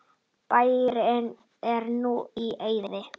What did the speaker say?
Bærinn er núna í eyði.